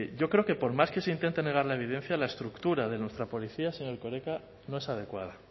yo creo que por más que se intente negar la evidencia la estructura de nuestra policía señor erkoreka no es adecuada